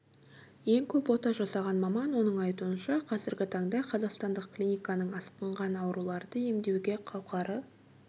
ең көп ота жасаған маман оның айтуынша қазіргі таңда қазақстандық клиниканың асқынған ауруларды емдеуге қауқары